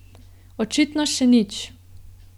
Očitno še nič.